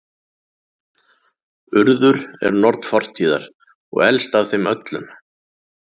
Urður er norn fortíðar og elst af þeim öllum.